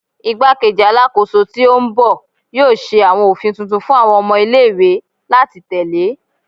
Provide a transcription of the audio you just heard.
Igbakeji Alakoso ti o n bọ yoo ṣe awọn ofin tuntun fun awọn ọmọ ile-iwe lati tẹle